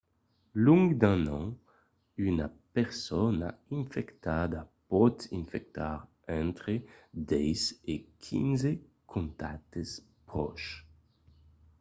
long d'un an una persona infectada pòt infectar entre 10 e 15 contactes pròches